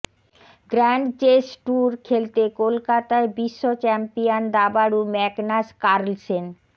grand chess tour খেলতে কলকাতায় বিশ্বচ্যাম্পিয়ন দাবাড়ু ম্যাগনাস কার্লসেন